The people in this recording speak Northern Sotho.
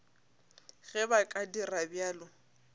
ge ba ka dira bjalo